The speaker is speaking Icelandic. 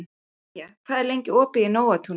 Enja, hvað er lengi opið í Nóatúni?